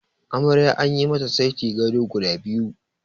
Amarya anyi mata saiti gado guda biyu.